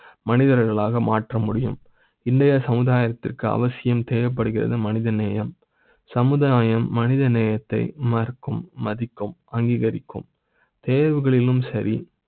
மனிதர்களாக மாற்ற முடியும் இந்த சமுதாய த்துக்கு அவசியம் தேவை ப்படுகிறது. மனிதநேய ம், சமுதாய ம், மனித நேய த்தை மறு க்கும் மதி க்கும், அங்கீகரிக்கும் தேர்வுகளிலும் சரி